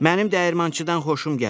Mənim dəyirmançıdan xoşum gəldi.